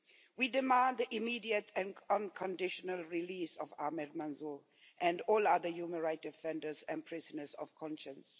We demand the immediate and unconditional release of Ahmed Mansoor and all other human rights defenders and prisoners of conscience.